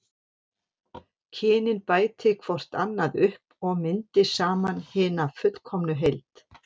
Kynin bæti hvort annað upp og myndi saman hina fullkomnu heild.